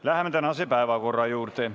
Läheme tänase päevakorra juurde.